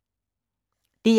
DR1